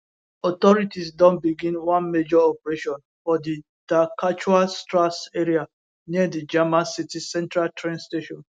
authorities don begin one major operation for di dachauer strasse area near di german city central train station